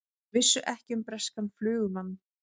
Vissu ekki um breskan flugumann